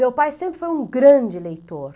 Meu pai sempre foi um grande leitor.